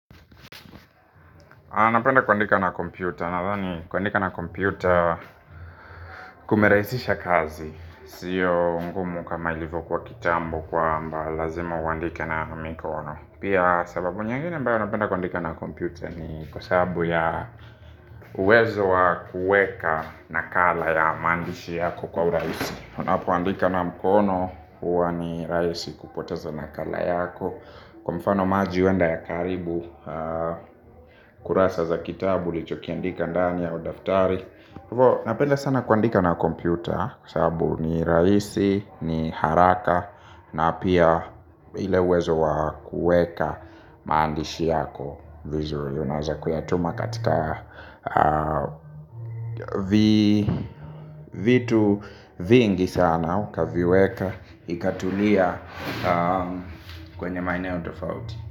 Anapenda kuandika na kompyuta, nadhani kuandika na kompyuta kumeraisisha kazi siyo ngumu kama ilivyo kuwa kitambo kwamba lazima uandike na mikono. Pia sababu nyingine ambayo napenda kuandika na kompyuta ni kwa sababu ya uwezo wa kuweka nakala ya mandishi yako kwa urahisi. Unapoandika na mkono huwa ni rahisi kupoteza nakala yako. Kwa mfano maji huenda yakaharibu kurasa za kitabu ulichokiandika ndani au daftari. Hivo napenda sana kuandika na kompyuta kwa sababu ni rahisi, ni haraka. Na pia ile uwezo wa kuweka maandishi yako vizuri unaweza kuyatuma katika vitu vingi sana ukaviweka ikatulia kwenye maeneo tofauti.